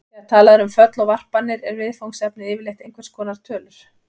Þegar talað er um föll og varpanir er viðfangsefnið yfirleitt einhvers konar tölur.